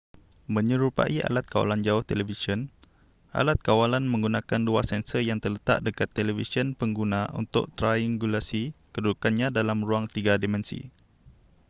menyerupai alat kawalan jauh televisyen alat kawalan menggunakan dua sensor yang terletak dekat televisyen pengguna untuk triangulasi kedudukannya dalam ruang tiga dimensi